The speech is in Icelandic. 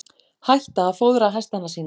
Hætta að fóðra hestana sína